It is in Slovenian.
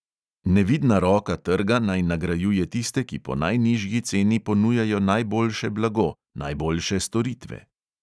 Nevidna roka trga naj nagrajuje tiste, ki po najnižji ceni ponujajo najboljše blago, najboljše storitve.